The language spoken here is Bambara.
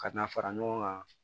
Ka na fara ɲɔgɔn kan